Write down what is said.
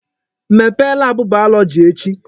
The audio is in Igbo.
Mepee laabụ bayọlọji echi!